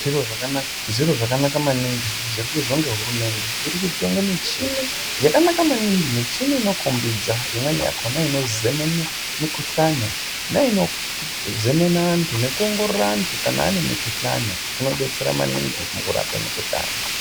Zviro zvakanaka maningi zviri kuizwe nehurumende. Iri kutenge michini yakanaka maningi michini inokombidza imweni yakona inozemene mikuhlane neinozemene antu nekuongorore antu kana ane mukuhlane zvinobetsere maninge mukurape mikuhlane .